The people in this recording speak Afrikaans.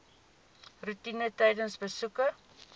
roetine tydens besoeke